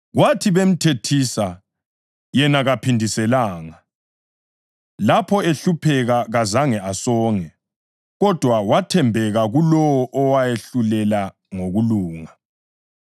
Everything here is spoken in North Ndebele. Kwathi bemthethisa, yena kaphindiselanga; lapho ehlupheka, kazange asonge. Kodwa wathembeka kulowo owahlulela ngokulunga.